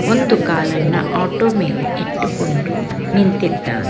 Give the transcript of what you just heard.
ಒಂದು ಕಾಲನ್ನ ಆಟೋ ಮೇಲೆ ಇಟ್ಟುಕೊಂಡು ನಿಂತಿದ್ದಾನೆ.